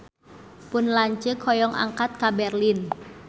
Pun lanceuk hoyong angkat ka Berlin